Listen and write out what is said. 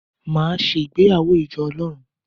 Màá se ìgbéyàwó ìjọ Ọlọ́run